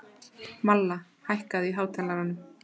Malla, hækkaðu í hátalaranum.